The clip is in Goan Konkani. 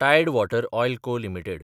टायड वॉटर ऑयल को (आय) लिमिटेड